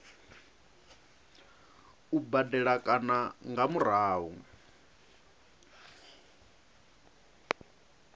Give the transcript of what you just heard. u badela kana nga murahu